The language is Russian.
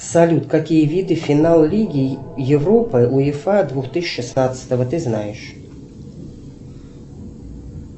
салют какие виды финал лиги европы уефа две тысячи шестнадцатого ты знаешь